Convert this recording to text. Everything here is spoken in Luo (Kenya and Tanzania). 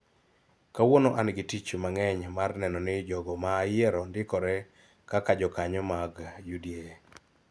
Kawuono an gi tich mang�eny mar neno ni jogo ma ayiero ndikore kaka jokanyo mag UDA